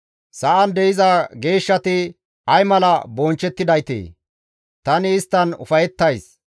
Sa7an de7iza geeshshati ay mala bonchchettidaytee! Tani isttan ufayettays.